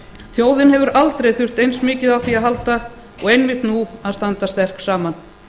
þjóðin hefur aldrei þurft eins mikið á því að halda og einmitt nú að standa sterk saman